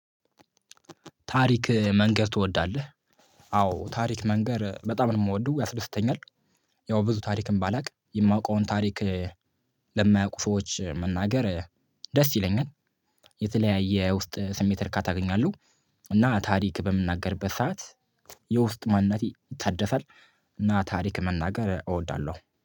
ታሪክ መንገር ትወዳለህ? አዎ ታሪክ መንገር በጣም ነው የምወደው ያስደስተኛል። ያው ብዙ ታሪክም ባላውቅ የማውቀውን ታሪክ ለማያውቁ ሰዎች መናገር ደስ ይለኛል። የተለያየ ውስጥ ስሜት እርካታ አገኛለሁ እና ታሪክ በምናገርበት ሰዓት የውስጥ ማንነቴ ይታደሳል እና ታሪክ መናገር እወዳለሁ።